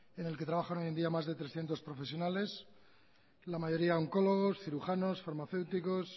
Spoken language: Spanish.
en el que trabajan hoy en día más de trescientos profesionales la mayoría oncólogos cirujanos farmacéuticos